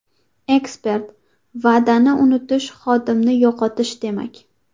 Ekspert: Va’dani unutish xodimni yo‘qotish demak.